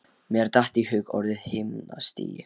Mér datt í hug orðið himnastigi.